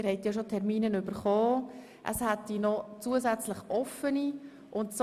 Sie haben bereits Termine erhalten, wobei es noch offene Termine hat.